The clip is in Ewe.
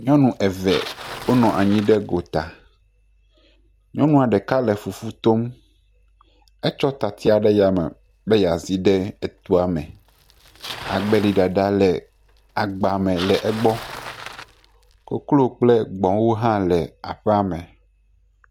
Nyɔnu eve wo nɔ anyi ɖe gota. Wo le fufu tom. Etsɔ tatsi ɖe ya me bey a zi ɖe etoa me. Agbeli ɖaɖa le egbɔ. Koklo kple gbwo hã le eƒea me.